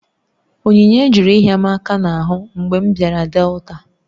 Onyinye jụrụ ịhịa m aka n'ahụ mgbe m bịara Delta